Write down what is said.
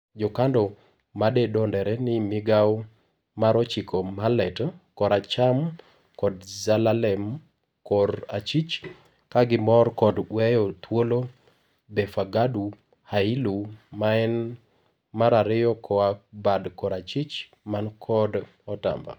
Jokando madendore ni Migao mar ochiko Mahlet(kor acham) kod Zelalem (kor achich) kagimor kod weyo thuolo Befaqadu Hailu (maen mar ariyo koa bad kor achich ,man kod otamba)